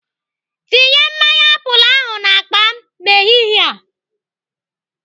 Tinye mmanya apụl ahụ n'akpa m n'ehihie a.